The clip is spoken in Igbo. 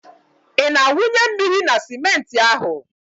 Ị na-awụnye mmiri na simenti ahụ?